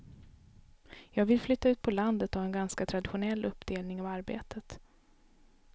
Jag vill flytta ut på landet och ha en ganska traditionell uppdelning av arbetet.